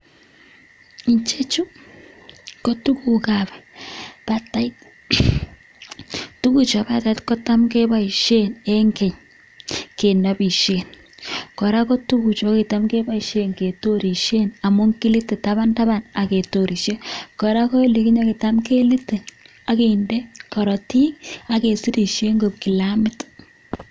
Ichechu kotuguk ab batait, tuguchu bo batait kotam keboishen en keny kenobishen. Kora ko tuguchu kokitam keboishen ketorishen amun kilite tabantaban ak ketorishen. Kora ko olikinye ko kitam kelite ak kinde korotik ak kesirishen koik kilamit.